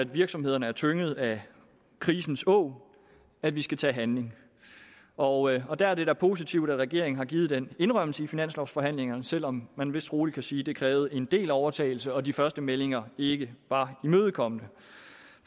virksomhederne er tynget af krisens åg at vi skal til at handle og og der er det da positivt at regeringen har givet den indrømmelse i finanslovsforhandlingerne selv om man vist rolig kan sige at det krævede en del overtalelse og at de første meldinger ikke var imødekommende